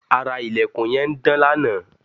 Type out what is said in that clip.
ara ilẹ̀kùn yẹn ń dán lanaa